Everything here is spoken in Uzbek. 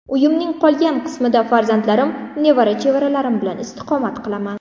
Uyimning qolgan qismida farzandlarim, nevara-chevaralarim bilan istiqomat qilaman.